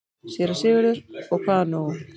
SÉRA SIGURÐUR: Og hvað nú?